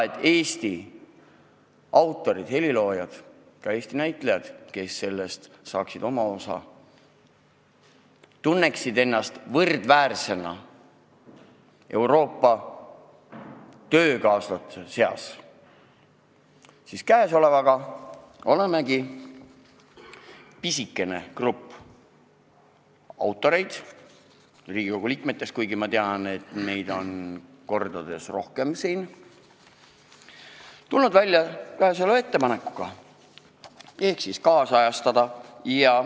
Et Eesti autorid ja heliloojad ning ka näitlejad, kes saaksid sellest oma osa, tunneksid ennast võrdväärsena Euroopa töökaaslaste seas, siis olemegi – pisike grupp autoreid Riigikogu liikmetest, kuigi ma tean, et meid on siin tegelikult kordades rohkem – tulnud välja selle ettepanekuga.